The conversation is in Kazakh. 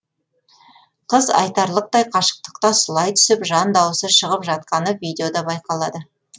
қыз айтарлықтай қашықтыққа сұлай түсіп жан дауысы шығып жатқаны видеода байқалады